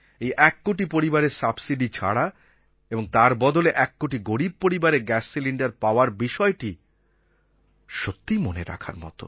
এক কোটি পরিবারের সাবসিডি ছাড়া এবং তার বদলে এককোটি গরীব পরিবারের গ্যাস সিলিণ্ডার পাওয়ার বিষয়টি সত্যিই মনে রাখার মতো